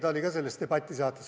Ta oli ka selles debatisaates.